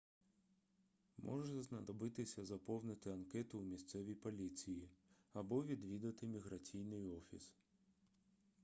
може знадобитися заповнити анкету у місцевій поліції або відвідати міграційний офіс